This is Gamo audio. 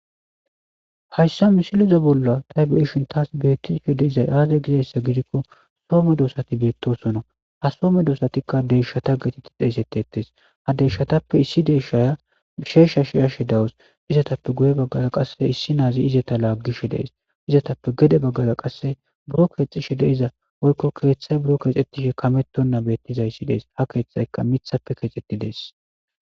hayssa misileza bolla tay be7ishin taas beettishe de7izay aaze gizayssa gidikko soome doosati beettosona ha some doosatikka deshshata getetti deesetettes ha deyshshatappe issi deeshaya sheeshsha shiyashe dawus izatappe guye baggaga qasse issi naazi izeta laaggishe dees izatappe gede baggaga qasse buro keexishe deiza oykko keeththay buro keexxettishe kamettonna beettiza issi dees ha keeththayka mithappe keexxetti dees.